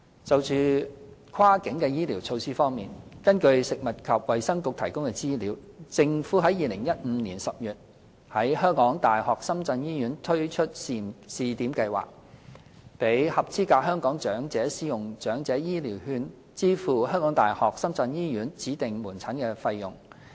就"跨境"醫療措施方面，根據食物及衞生局提供的資料，政府於2015年10月在香港大學深圳醫院推出試點計劃，讓合資格香港長者使用長者醫療券支付香港大學深圳醫院指定門診的費用。